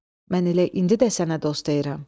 Mən elə indi də sənə dost deyirəm.